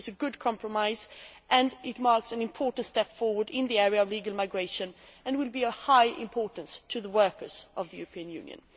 It is a good compromise and it marks an important step forward in the area of legal migration and will be of high importance to the workers of the European Union.